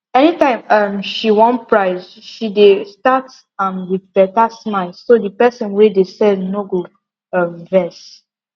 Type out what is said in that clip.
anytime um she wan price she dey start am with better smile so the person wey de sell no go um vex